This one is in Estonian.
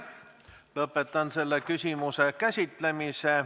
Lõpetan selle küsimuse käsitlemise.